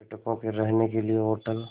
पर्यटकों के रहने के लिए होटल